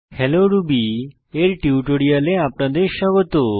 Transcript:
hello Ruby এর টিউটোরিয়ালে আপনাদের স্বাগত